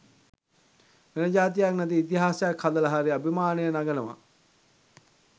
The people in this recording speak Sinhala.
වෙනජාතියක් නැති ඉතිහාසයක් හදල හරි අභිමානය නගනව